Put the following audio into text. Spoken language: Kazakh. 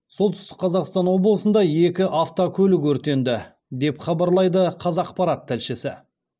солтүстік қазақстан облысында екі автокөлік өртенді деп хабарлайды қазақпарат тілшісі